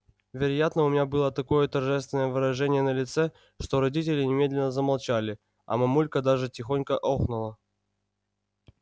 вероятно у меня было такое торжественное выражение на лице что родители немедленно замолчали а мамулька даже тихонько охнула